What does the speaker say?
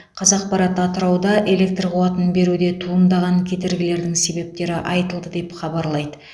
қазақпарат атырауда электр қуатын беруде туындаған кедергілердің себептері айтылды деп хабарлайды